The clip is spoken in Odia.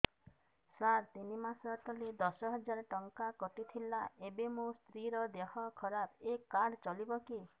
ସାର ତିନି ମାସ ତଳେ ଦଶ ହଜାର ଟଙ୍କା କଟି ଥିଲା ଏବେ ମୋ ସ୍ତ୍ରୀ ର ଦିହ ଖରାପ ଏ କାର୍ଡ ଚଳିବକି